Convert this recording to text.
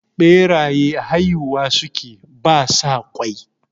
Ɓeraye haihuwa sukeyi ba sa ƙwai